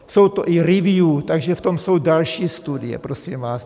Jsou to i review, takže v tom jsou další studie, prosím vás.